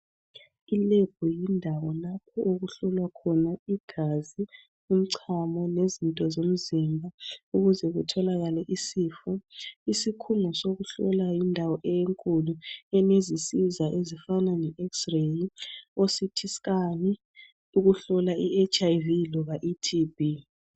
Ilab yindawo lapho okuhlolwa khona igazi , umchamo lezinto zomzimba ukuze kutholakale isifo. Isikhungo sokuhlola yindawo enkulu enizisiza ezifana le X-ray, oCT scan, ukuhlola iHIV loba iTB.